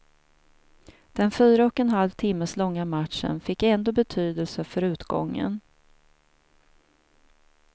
Den fyra och en halv timmes långa matchen fick ändå betydelse för utgången.